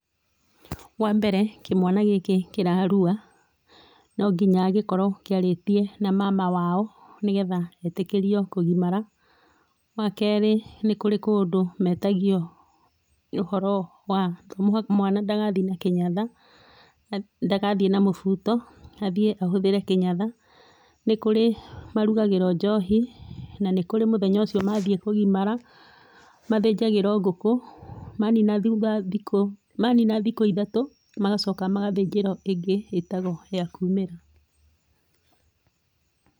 Wambere, kĩmwana gĩkĩ kĩrarua, no nginya gĩkorwo kĩarĩtie na mama wao, nĩgetha gĩtĩkĩrio kũgimara, wa kerĩ nĩ kũrĩ kũndũ metagio, ũhoro wa mwana ndagathiĩ na kĩnyatha, na nadagathiĩ na mũbuto, athiĩ ahũthĩre kĩnyatha, nĩ kũrĩ marugagĩrwo njohi, na nĩ kũrĩ mũthenya ũcio mathiĩ kũgimara, mathĩnjagĩrwo ngũkũ, manina thutha thikũ, manina thikũ ithatũ, magacoka magathĩnjĩrwo ĩngĩ ĩtagwo ya kuumĩra.